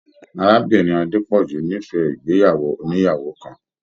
Arábìnrin Adepọju n'ifẹ ìgbéyàwó ònìyàwó kàn.